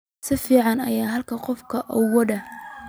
Si fiican ayaan halkan qolka ugu wadnaa